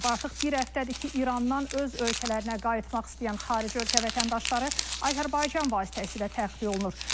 Artıq bir həftədir ki, İrandan öz ölkələrinə qayıtmaq istəyən xarici ölkə vətəndaşları Azərbaycan vasitəsilə təxliyə olunur.